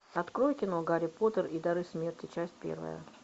открой кино гарри поттер и дары смерти часть первая